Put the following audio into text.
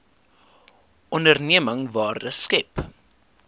onderneming waarde skep